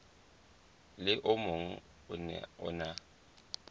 le o mong o na